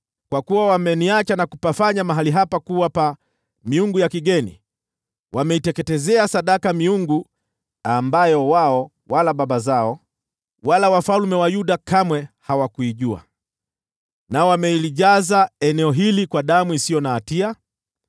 Kwa kuwa wameniacha na kupafanya mahali hapa kuwa pa miungu ya kigeni. Wameiteketezea sadaka miungu ambayo wao wala baba zao wala wafalme wa Yuda kamwe hawakuijua, nao wamelijaza eneo hili kwa damu isiyo na hatia.